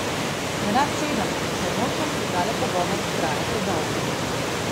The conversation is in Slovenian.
Nerad sedem, saj nočem, da tale pogovor traja predolgo.